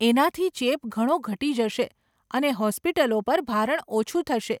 એનાથી ચેપ ઘણો ઘટી જશે અને હોસ્પિટલો પર ભારણ ઓછું થશે .